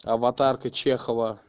аватарка чехова